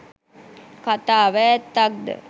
කතාව ඇත්තක්ද?